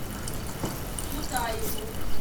тутаеву